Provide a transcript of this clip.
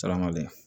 Salaham dɛ